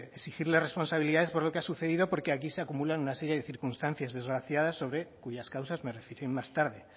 exigirle las responsabilidades por lo que ha sucedido porque aquí se acumulan una serie de circunstancias desgraciadas cuyas causas me referiré más tarde